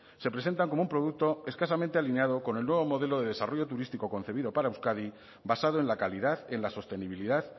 se presentan como un producto escasamente alineado con el nuevo modelo de desarrollo turístico concebido para euskadi basado en la calidad en la sostenibilidad